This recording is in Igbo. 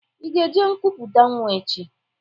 Ị ga eje nkwupụta nwa echi?